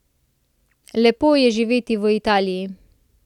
Lepo je živeti v Italiji.